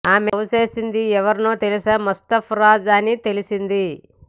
ఆమె లవ్ చేసేది ఎవరినో తెలుసా ముస్తాఫా రాజ్ అని తెలిసింది